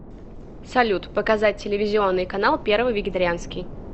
салют показать телевизионный канал первый вегетарианский